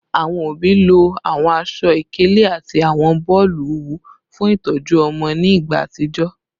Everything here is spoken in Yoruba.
Awọn obi lo awọn aṣọ-ikele ati awọn boolu owu fun itọju ọmọ ni igba atijọ